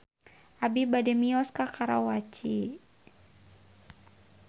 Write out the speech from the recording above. Abi bade mios ka Karawaci